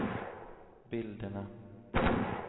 bilderna